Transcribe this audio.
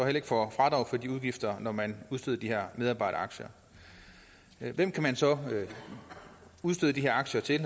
ikke får fradrag for de udgifter når man udsteder de her medarbejderaktier hvem kan man så udstede de her aktier til